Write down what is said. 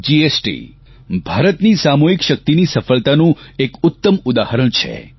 GST ભારતની સામૂહિક શક્તિની સફળતાનું એક ઉત્તમ ઉદાહરણ છે